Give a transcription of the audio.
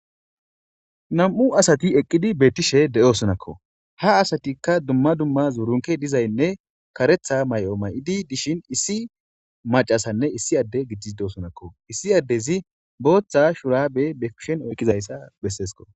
Nam'u asati eqqidi beettishe de'osonakko ha asatikka dumma dumma zurunkey dizaynne kareththa may'o may'idi dishin issi macasanne issi adde giddii de'osonakko issi addezi booththa shuraabe be kushen oykizayssa bessesikko